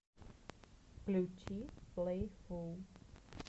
включи плэйфул